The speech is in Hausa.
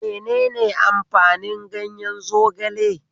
Menene amfanin ganyen zogale?